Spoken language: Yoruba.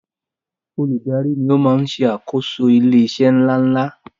Olùdarí ni o maá n ṣe àkóso ilé iṣé ńláńlá